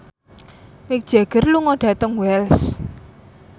Mick Jagger lunga dhateng Wells